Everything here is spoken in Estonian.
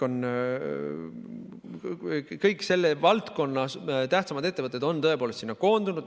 Kõik selle valdkonna tähtsaimad ettevõtted on tõepoolest sinna liitu koondunud.